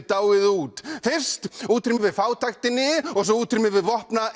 dáið út fyrst útrýmum við fátæktinni og svo útrýmum við